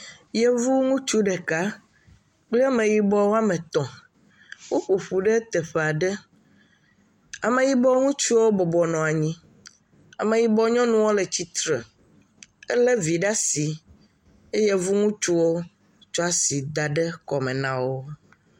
Yevu ŋutsu ɖeka kple Ameyibɔ woame tɔ̃. Woƒo ƒu ɖe teƒea ɖe. Ameyibɔ ŋutsuwo bɔbɔ nɔ anyi. Ameyibɔ nyɔnuwo le tsitre. Elé vi ɖaa si eye Yevu ŋutsuwo kplaa si kɔme na wo.